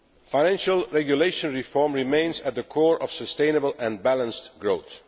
Financial regulation reform remains at the core of sustainable and balanced growth.